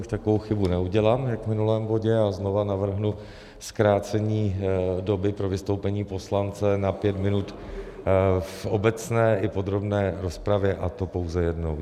Už takovou chybu neudělám jak v minulém bodě a znovu navrhnu zkrácení doby pro vystoupení poslance na pět minut v obecné i podrobné rozpravě, a to pouze jednou.